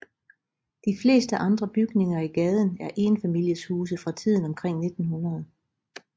De fleste andre bygninger i gaden er enfamilieshuse fra tiden omkring 1900